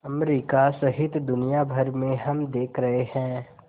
America सहित दुनिया भर में हम देख रहे हैं